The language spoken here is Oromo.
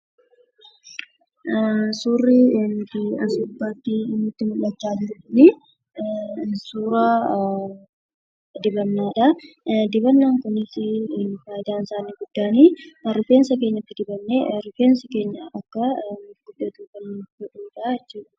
Suurri as gubbaarratti nutti mul'achaa jiru kun suura dibannadha. Faayidaan dibanaa kunis rifeensa keenya dibannee akka rifeensi keenyi gurgudsatu kan nuuf godhudha jechuudha.